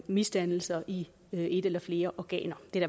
misdannelser i et eller flere organer det er